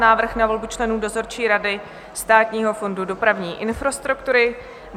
Návrh na volbu členů dozorčí rady Státního fondu dopravní infrastruktury